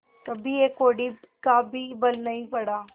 कभी एक कौड़ी का भी बल नहीं पड़ा